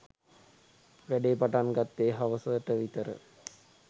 වැඩේ පටන් ගත්තෙ හවස ට විතර.